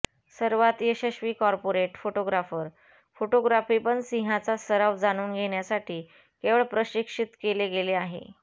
सर्वात यशस्वी corporate photographer photography पण सिंहाचा सराव जाणून घेण्यासाठी केवळ प्रशिक्षित केले गेले आहे